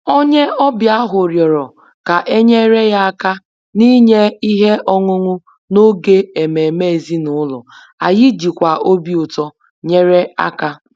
Onye ọbịa ahụ rịọrọ ka e nyere ya aka n’inye ihe ọṅụṅụ n’oge ememe ezinụlọ, anyị jikwa obi ụtọ nyere aka